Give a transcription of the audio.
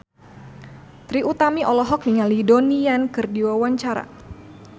Trie Utami olohok ningali Donnie Yan keur diwawancara